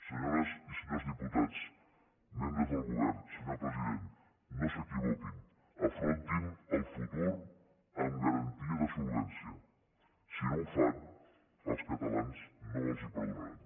senyores i senyors diputats membres del govern senyor president no s’equivoquin afrontin el futur amb garantia de solvència si no ho fan els catalans no els ho perdonaran